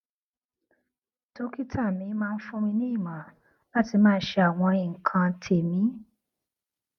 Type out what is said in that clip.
dókítà mi máa ń fún mi ní ìmọràn láti máa ṣe àwọn nǹkan tèmí